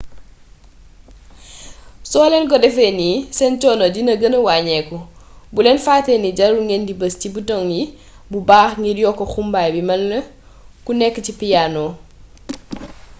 soo leen ko defee nii seen coono dina gëna waññeeku bul leen fatte ni jarul ngeen di bës ci bitoŋ yi bu baax ngir yokk xumbaay bi melni ku nekk ci piyaano